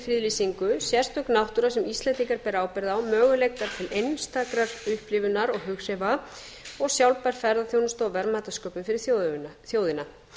friðlýsingu sérstök náttúra sem útlendingar bera ábyrgð á möguleikar til einstakrar upplifunar og hughrifa og sjálfbær ferðaþjónusta og verðmætasköpun fyrir þjóðina